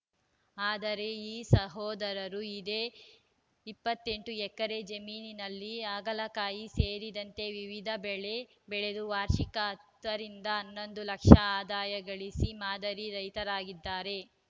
ಆದರೆ ಈ ಸಹೋದರರು ಇದೇ ಇಪ್ಪತ್ತ್ ಎಂಟು ಎಕರೆ ಜಮೀನಿನಲ್ಲಿ ಹಾಗಲಕಾಯಿ ಸೇರಿದಂತೆ ವಿವಿಧ ಬೆಳೆ ಬೆಳೆದು ವಾರ್ಷಿಕ ಹತ್ತ ರಿಂದ ಹನ್ನೊಂದು ಲಕ್ಷ ಆದಾಯ ಗಳಿಸಿ ಮಾದರಿ ರೈತರಾಗಿದ್ದಾರೆ